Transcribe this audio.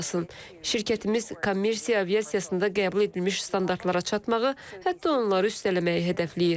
Şirkətimiz kommersiya aviasiyasında qəbul edilmiş standartlara çatmağı, hətta onları üstələməyi hədəfləyir.